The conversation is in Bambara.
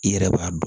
I yɛrɛ b'a dɔn